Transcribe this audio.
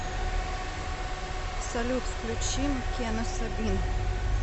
салют включи маккена сабин